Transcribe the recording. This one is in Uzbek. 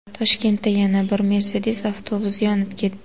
Toshkentda yana bir Mercedes avtobusi yonib ketdi.